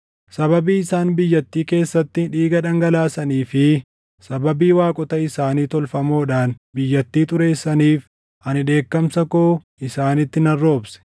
Sababii isaan biyyaattii keessatti dhiiga dhangalaasanii fi sababii waaqota isaanii tolfamoodhaan biyyattii xureessaniif, ani dheekkamsa koo isaanitti nan roobse.